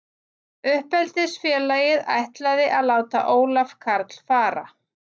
Uppeldisfélagið ætlaði að láta Ólaf Karl fara.